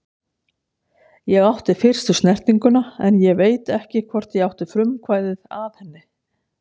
Ég átti fyrstu snertinguna en ég veit ekki hvort ég átti frumkvæðið að henni.